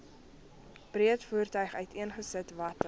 breedvoerig uiteengesit watter